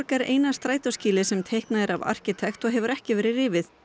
er eina strætóskýlið sem teiknað er af arkitekt og hefur ekki verið rifið